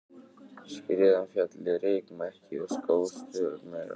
Skriðan féll í rykmekki og skóf stöðugt meira af hlíðinni á niðurleiðinni.